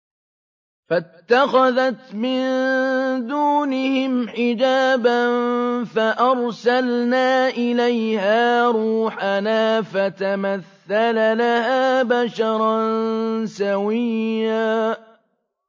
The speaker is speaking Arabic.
فَاتَّخَذَتْ مِن دُونِهِمْ حِجَابًا فَأَرْسَلْنَا إِلَيْهَا رُوحَنَا فَتَمَثَّلَ لَهَا بَشَرًا سَوِيًّا